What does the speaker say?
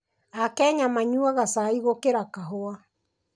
Akenya manyuaga cai gũkĩra kahũa.